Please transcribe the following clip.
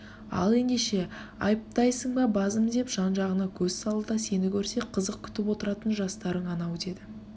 ал ендеше айптайсың ба базым деп жан-жағына көз салды да сені көрсе қызық күтіп отыратын жастарың анау деді